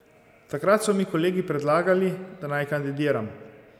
Takrat so mi kolegi predlagali, da naj kandidiram.